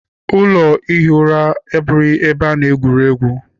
Ụlọ ihi ụra abụghị ebe ana-egwuregwu.